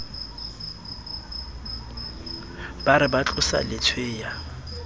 ba re ba tlosa letshweya